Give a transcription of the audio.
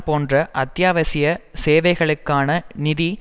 போன்ற அத்தியாவசிய சேவைகளுக்கான நிதி